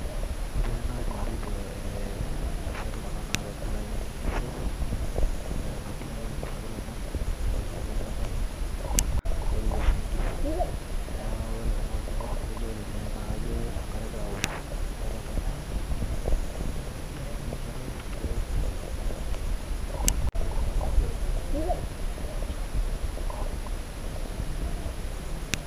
ore tene naa kaidim atejo intasati kuna naatonita ainining'isho neetai nabo nagira ainosaki ilomon neeta ilpirai le nkare neaku ore te maoni ai naa kaidim atejo ore tene naa kajo enkare egira aanyu kuna tasati tene pee eoku pee eidapasha duo aapuo